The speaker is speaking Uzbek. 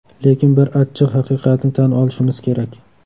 Lekin bir achchiq haqiqatni tan olishimiz kerak.